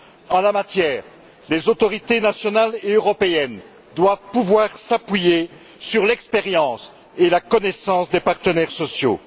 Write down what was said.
En la matière, les autorités nationales et européennes doivent pouvoir s'appuyer sur l'expérience et la connaissance des partenaires sociaux.